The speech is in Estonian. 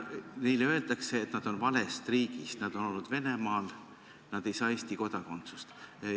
Neile öeldakse, et nad on valest riigist, nad on olnud Venemaal, nad ei saa Eesti kodakondsust.